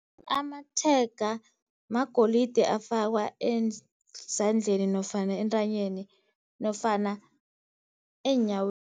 Amatshega magolide afakwa ezandleni nofana entanyeni nofana eenyaweni.